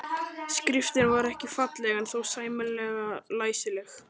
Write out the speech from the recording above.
Skriftin var ekki falleg en þó sæmilega læsileg.